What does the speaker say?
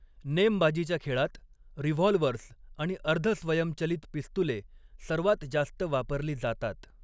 नेमबाजीच्या खेळात, रिव्हॉल्व्हर्स आणि अर्ध स्वयंचलित पिस्तूले सर्वात जास्त वापरली जातात.